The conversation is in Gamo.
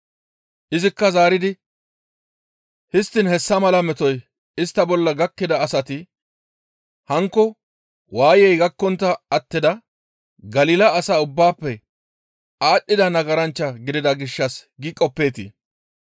Izikka zaaridi, «Histtiin hessa mala metoy istta bolla gakkida asati hankko waayey gakkontta attida Galila asaa ubbaafe aadhdhida nagaranchcha gidida gishshas gi qoppeetii?